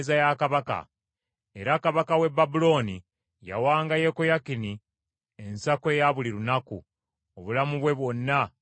Era kabaka w’e Babulooni yawanga Yekoyakini ensako eya buli lunaku, obulamu bwe bwonna okutuusa lwe yafa.